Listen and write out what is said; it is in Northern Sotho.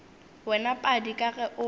wena padi ka ge o